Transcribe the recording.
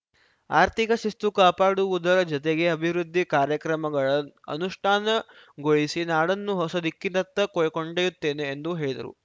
ಆರ್ಥಿಕ ಶಿಸ್ತು ಕಾಪಾಡುವುದರ ಜತೆಗೆ ಅಭಿವೃದ್ಧಿ ಕಾರ್ಯಕ್ರಮಗಳ ಅನುಷ್ಠಾನಗೊಳಿಸಿ ನಾಡನ್ನು ಹೊಸ ದಿಕ್ಕಿನತ್ತ ಕೊಂಡೊಯ್ಯುತ್ತೇನೆ ಎಂದು ಹೇಳಿದರು